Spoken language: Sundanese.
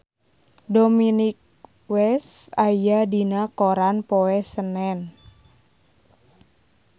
Dominic West aya dina koran poe Senen